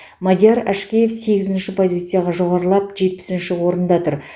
мадияр әшкеев сегізінші позицияға жоғарылап жетпісінші орында тұр